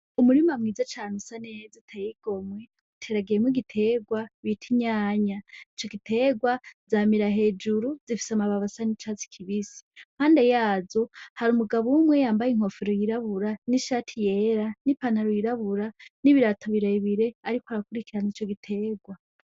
Umurima mwiza cane usa neza uteye igomwe. Uteragiyemwo igiterwa bita inyanya. Ico giterwa, zamira hejuru, zifise amababi asa n'icatsi kibisi. Impande yazo hari umugabo umwe yambaye inkofero yirabura n'ishati yera n'ipantaro yirabura n'ibirato birebire, ariko arakurikirana ico giterwa.